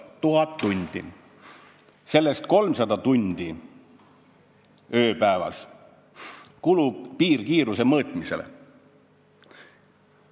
1000 tundi ja sellest 300 tundi ööpäevas kulub piirkiiruse mõõtmisele.